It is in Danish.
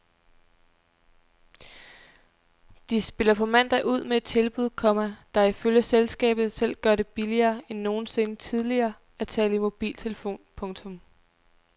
De spiller på mandag ud med et tilbud, komma der ifølge selskabet selv gør det billigere end nogensinde tidligere at tale i mobiltelefon. punktum